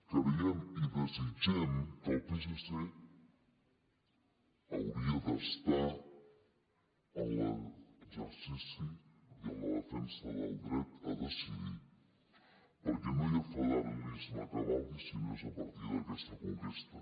creiem i desitgem que el psc hauria d’estar en l’exercici i en la defensa del dret a decidir perquè no hi ha federalisme que valgui si no és a partir d’aquesta conquesta